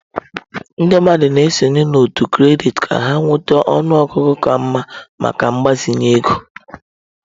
Ndị mmadụ na-esonye n'òtù kredit ka ha nweta ọnụ ọgụgụ ka mma maka mgbazinye ego.